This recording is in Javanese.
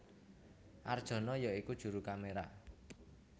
Arjono ya iku juru kaméra